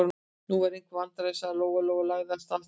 Nú eru einhver vandræði, sagði Lóa-Lóa og lagði af stað niður.